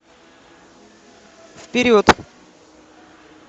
вперед